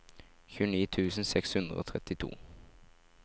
tjueni tusen seks hundre og trettito